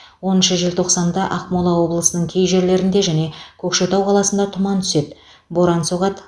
оныншы желтоқсанда ақмола облысының кей жерлерінде және көкшетау қаласында тұман түседі боран соғады